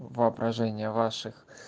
воображение ваших